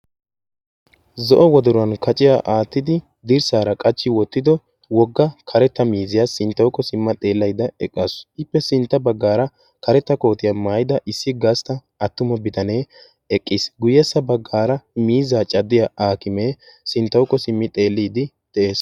zo'o wodoruwan kaciya aattidi dirssaara qachchi wottido wogga karetta miiziyaa sinttawuko simma xeellayda eqqaasu ippe sintta baggaara karetta kootiyaa maayida issi gastta attuma bitanee eqqiis guyyessa baggaara miizaa caddiya akimee sinttawukko simmi xeelliidi de'ees